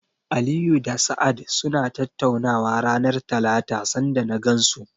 Aliyu da Sa'ad suna tattaunawa ranar Talata sanda na gansu.